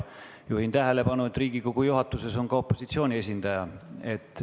Juhin tähelepanu sellele, et Riigikogu juhatuses on ka opositsiooni esindaja.